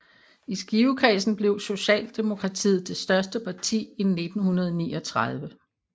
I Skivekredsen blev Socialdemokratiet det største parti i 1939